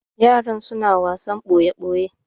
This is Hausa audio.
yaran suna wasan boye boye